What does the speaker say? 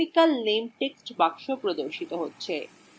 chemical name text box প্রদর্শিত হয়